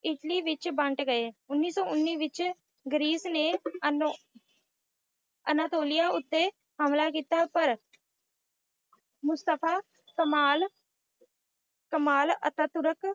Italy ਵਿੱਚ ਬੰਟ ਗਏ। ਉੱਨੀ ਸੌ ਉੱਨੀ ਵਿੱਚ ਗਰੀਸ ਨੇ ਅਨੋ~ ਅਨਾਤੋਲਿਆ ਉੱਤੇ ਹਮਲਾ ਕੀਤਾ ਪਰ ਮੁਸਤਫਾ ਕਮਾਲ ਕਮਾਲ ਅਤਾਤੁਰਕ